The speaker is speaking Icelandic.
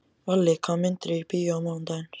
Valli, hvaða myndir eru í bíó á mánudaginn?